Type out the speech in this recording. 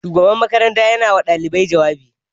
Shugaban makaranta yana ma ɗalibai jawabi